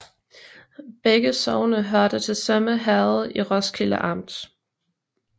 Begge sogne hørte til Sømme Herred i Roskilde Amt